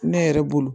Ne yɛrɛ bolo